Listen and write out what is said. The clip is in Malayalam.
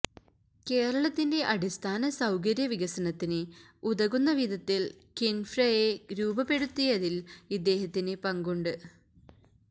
കേരളത്തിന്റെ അടിസ്ഥാന സൌകര്യ വികസനത്തിന് ഉതകുന്ന വിധത്തില് കിന്ഫ്രയെ രൂപപ്പെടുത്തിയതില് ഇദ്ദേഹത്തിന് പങ്കുണ്ട്